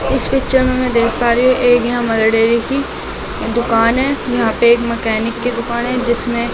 इस पिक्चर मे मैं दिख पा रही हूं एक यहां मेलडेयर की दुकान है यहां पे एक मैकेनिक की दुकान है जिसमें--